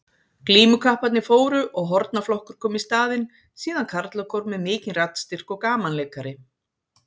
Glímukapparnir fóru og hornaflokkur kom í staðinn, síðan karlakór með mikinn raddstyrk og gamanleikari.